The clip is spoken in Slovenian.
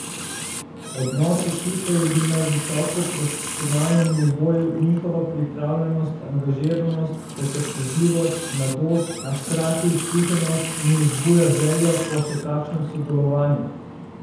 Odnos ekipe je bil na visoko profesionalnem nivoju, njihova pripravljenost, angažiranost, potrpežljivost, mladost, a hkrati izkušenost, mi vzbuja željo po še kakšnem sodelovanju.